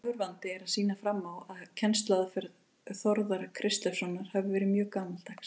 Hægur vandi er að sýna fram á að kennsluaðferð Þórðar Kristleifssonar hafi verið mjög gamaldags.